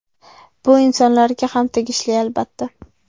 Bu insonlarga ham tegishli albatta.